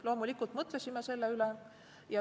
Loomulikult me mõtlesime selle üle.